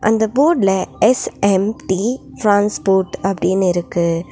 இந்த போட்ல S M T transport அப்டின்னு இருக்கு.